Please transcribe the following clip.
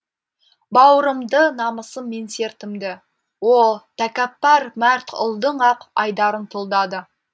бауырымды намысым менсертімді о тәкаппар мәрт ұлдың ақ айдарын тұлдады